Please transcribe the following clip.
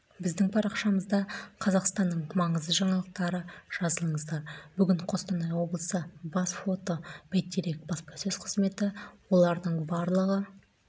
біздің парақшамызда қазақстанның маңызды жаңалықтары жазылыңыздар бүгін қостанай облысы бас фото бәйтерек баспасөз қызметі олардың барлығы